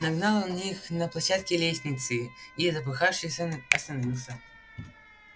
нагнал он их на площадке лестницы и запыхавшись он остановился